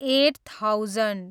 at thousand